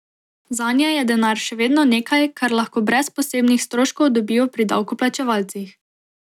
Zanje je denar še vedno nekaj, kar lahko brez posebnih stroškov dobijo pri davkoplačevalcih.